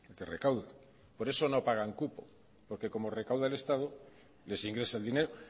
que recauda por eso no pagan cupo porque como recauda el estado les ingresa el dinero